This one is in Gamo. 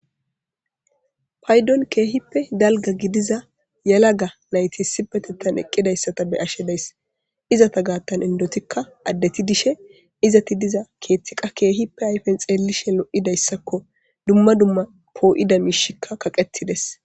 Paydon keehippe galga gidiza yala ga nayti sibetettan eqqidayssata be ashshe days izata gaattan indotikka addeti dishe izati diza keethtiqa keehippe ayfen xeellishe lo7idayssakko dumma dumma poo7ida miishikka kaqetides